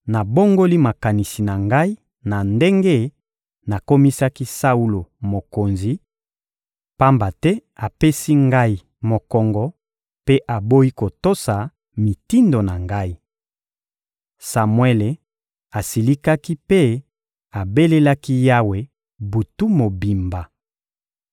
— Nabongoli makanisi na Ngai na ndenge nakomisaki Saulo mokonzi, pamba te apesi Ngai mokongo mpe aboyi kotosa mitindo na Ngai. Samuele asilikaki mpe abelelaki Yawe butu mobimba.